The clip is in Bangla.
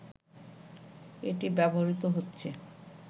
এটি ব্যবহৃত হচ্ছে